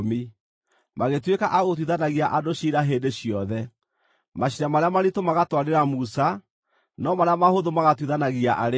Magĩtuĩka a gũtuithanagia andũ ciira hĩndĩ ciothe. Maciira marĩa maritũ magatwarĩra Musa, no marĩa mahũthũ magatuithanagia arĩ o.